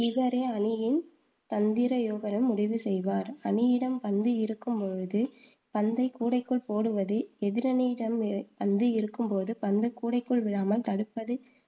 இவரே அணியின் தந்திர முடிவு செய்வார். அணியிடம் பந்து இருக்கும் போது பந்தை கூடைக்குள் போடுவது எதிரணியிடம் பந்து இருக்கும்போது பந்து கூடைக்குள் விழாமல் தடுப்பது